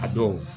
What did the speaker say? A dɔw